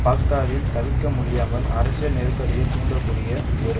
பாக்தாத்தில் தவிர்க்கமுடியாமல் அரசியல் நெருக்கடியை தூண்டக்கூடிய ஒரு